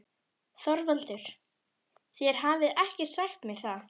ÞORVALDUR: Þér hafið ekki sagt mér það.